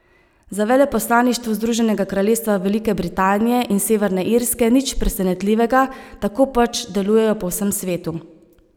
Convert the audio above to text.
Za veleposlaništvo Združenega kraljestva Velike Britanije in Severne Irske nič presenetljivega, tako pač delujejo po vsem svetu.